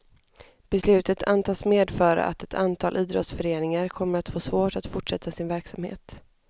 Beslutet antas medföra att ett antal idrottsföreningar kommer att få svårt att fortsätta sin verksamhet.